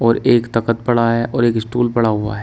और एक तखत पड़ा है और एक स्टूल पड़ा हुआ है।